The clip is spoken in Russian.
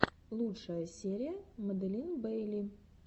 лучшая серия маделин бейли